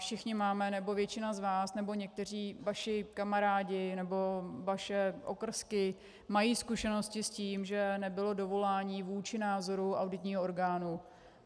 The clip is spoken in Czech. Všichni máme, nebo většina z vás, nebo někteří vaši kamarádi, nebo vaše okrsky mají zkušenosti s tím, že nebylo dovolání vůči názoru auditního orgánu.